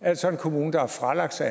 altså en kommune der har fralagt sig